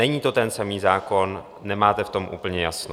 Není to ten samý zákon, nemáte v tom úplně jasno.